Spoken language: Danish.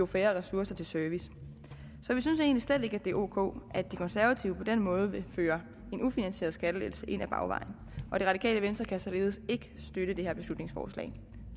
færre ressourcer til service så vi synes egentlig slet ikke at det er ok at de konservative på den måde vil føre en ufinansieret skattelettelse ind ad bagvejen og det radikale venstre kan således ikke støtte det her beslutningsforslag